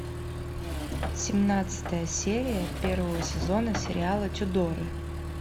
семнадцатая серия первого сезона сериала тюдоры